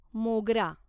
मोगरा